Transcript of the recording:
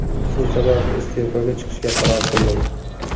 Shu sababli, iste’foga chiqishga qaror qildim.